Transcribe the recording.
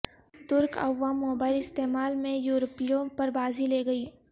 ترک عوام موبائل استعمال میں یورپیوں پر بازی لے گئی